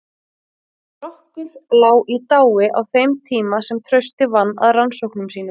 Strokkur lá í dái á þeim tíma sem Trausti vann að rannsóknum sínum.